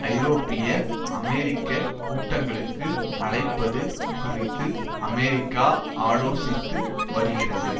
ஐரோப்பிய அமெரிக்க கூட்டங்களுக்கு அழைப்பது குறித்து அமெரிக்கா ஆலோசித்து வருகிறது